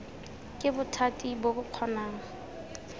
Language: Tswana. ke bothati bo bo kgonang